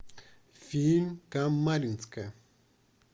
фильм камаринская